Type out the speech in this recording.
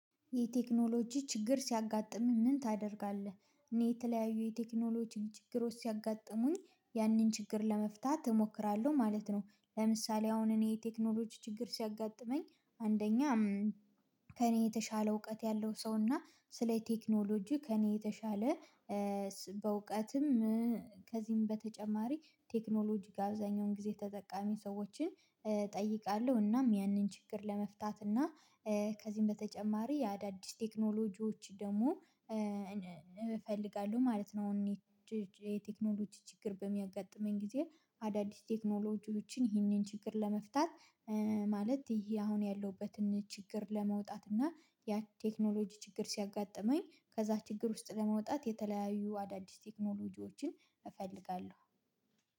የቴክኖሎጂ ችግር ሲያጋጥምህ ምን ታደርጋለህ? እኔ የተለያዩ የቴክኖሎጂን ችግሮች ሲያጋጥሙኝ ያንን ችግር ለመፍታት እሞክራለሁ ማለት ነው። ለምሳሌ አሁን እኔ የቴክኖሎጂ ችግር ሲያጋጥመኝ አንደኛ ከእኔ የተሻለ እውቀት ያለው ሰው እና ስለ ቴክኖሎጂ ከእኔ የተሻለ በእውቀትም ከዚህም በተጨማሪ ቴክኖሎጂጋ አብዛኛውን ጊዜ ተጠቃሚ ሰዎችን እጠይቃለሁ እናም ያንን ችግር ለመፍታት እና ከዚህም በተጨማሪ አዳዲስ ቴክኖሎጂዎች ደግሞ እፈልጋለሁ ማለት ነው። የቴክኖሎጂ ችግር በሚያጋጥመኝ ጊዜ አዳዲስ ቴክኖሎጂዎችን ይህንን ችግር ለመፍታት ማለት ይሄ አሁን ያለሁበትን ችግር ለመውጣት እና የቴክኖሎጂ ችግር ሲያጋጥመኝ ከዛ ችግር ውስጥ ለመውጣት የተለያዩ አዳዲስ ቴክኖሎጂዎችን እፈልጋለሁ።